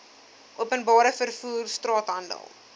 openbare vervoer straathandel